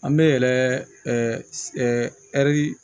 An bɛ yɛrɛ ɛri